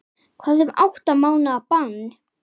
Hvað um átta mánaða bann?